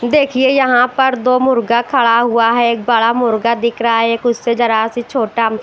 देखिए यहाँ पर दो मुर्गा खड़ा हुआ है एक बड़ा मुर्गा दिख रहा है एक उससे जरा सी छोटा --